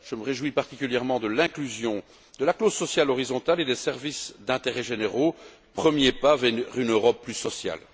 Je me réjouis particulièrement de l'inclusion de la clause sociale horizontale et des services d'intérêts généraux, premier pas vers une Europe plus sociale.